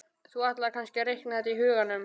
Þú ætlar kannski að reikna þetta í huganum?